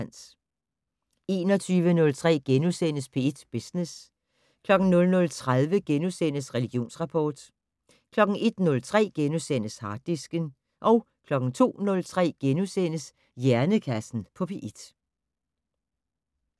21:03: P1 Business * 00:30: Religionsrapport * 01:03: Harddisken * 02:03: Hjernekassen på P1 *